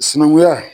Sinankunya